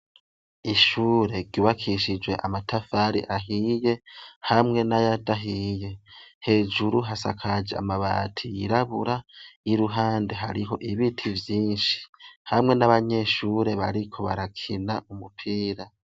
Ishure ribakishijwe amatafari ahiye, hamwe n'ayadahiye. Hejuru hasakaje amabati yirabura, y'iruhande hariho ibiti vyinshi, hamwe n'abanyeshure bariko barakina umupira.